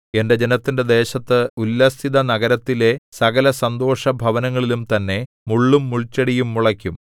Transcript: എന്റെ ജനത്തിന്റെ ദേശത്ത് ഉല്ലസിതനഗരത്തിലെ സകലസന്തോഷഭവനങ്ങളിലും തന്നെ മുള്ളും മുൾച്ചെടിയും മുളയ്ക്കും